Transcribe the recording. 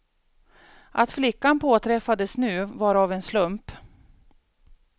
Att flickan påträffades nu var av en slump.